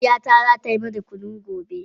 Mahaifiyata za ta yi mana kunu gobe.